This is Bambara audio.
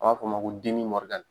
An b'a f'o ma ko